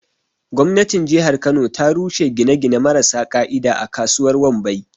Gwamnatin jihar kano ta rushe gine-gine marasa ƙa'ida a kasuwar Wambai.